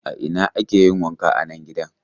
A ina ake yin wanka a nan gidan?